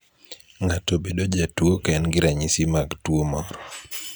Ng'ato bedo jatuo ka en gi ranyisi mag tuo moro.